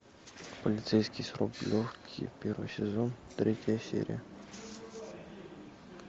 полицейский с рублевки первый сезон третья серия